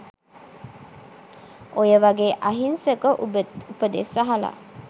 ඔය වගේ අහිංසක උපදෙස් අහල